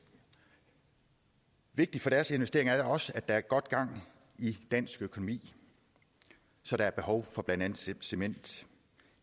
vigtigt for deres investering er da også at der er godt gang i dansk økonomi så der er behov for blandt andet cement